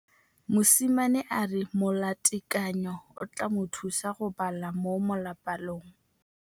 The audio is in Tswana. Mosimane a re molatekanyô o tla mo thusa go bala mo molapalong.